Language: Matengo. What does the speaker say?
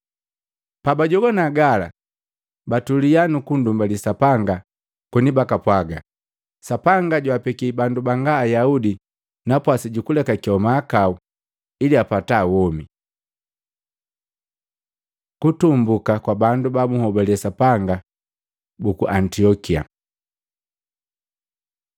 Pabajogwana gala, batulia nukundumbali Sapanga koni bakapwaga, “Sapanga jwaapeki bandu banga Ayaudi napwasi juku lekakewa mahakau ili apata womi!” Kutumbuka kwa bandu babuhobale Sapanga buku Antiokia